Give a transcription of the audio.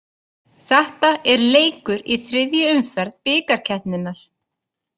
Þetta er leikur í þriðju umferð bikarkeppninnar.